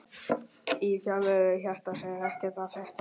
Í fjarveru hjartans er ekkert að frétta